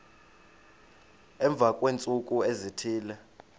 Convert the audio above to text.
emva kweentsuku ezithile